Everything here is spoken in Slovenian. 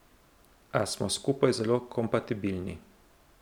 A smo skupaj zelo kompatibilni.